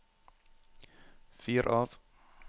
fyr av